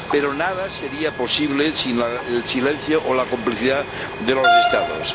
Pero nada sería posible sin el silencio o la complicidad de los Estados.